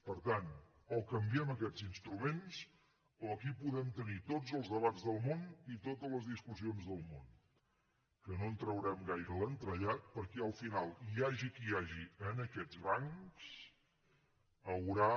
per tant o canviem aquests instruments o aquí podem tenir tots els debats del món i totes les discussions del món que no en traurem gaire l’entrellat perquè al final hi hagi qui hi hagi en aquests bancs haurà